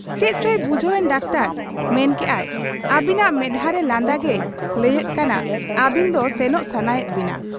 ᱪᱮᱫᱪᱚᱭ ᱵᱩᱡᱷᱟᱹᱣ ᱮᱱ ᱰᱟᱠᱛᱚᱨ, ᱢᱮᱱ ᱠᱮᱜ ᱟᱭ, 'ᱟᱹᱵᱤᱱᱟᱜ ᱢᱮᱫᱦᱟᱸᱨᱮ ᱞᱟᱸᱫᱟ ᱜᱮᱭ ᱞᱟᱹᱭᱟᱹᱜ ᱠᱟᱱᱟ ᱟᱹᱵᱤᱱ ᱫᱚ ᱥᱮᱱᱚᱜ ᱥᱟᱱᱟᱭᱮᱫ ᱵᱤᱱᱟ ᱾